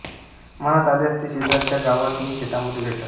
मनात आल्यास ते शेजारच्या गावांत नि शेतामध्ये भेटत